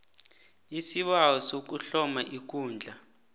isibawo sokuhloma ikundla